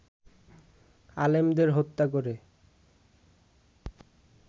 আলেমদের হত্যা করে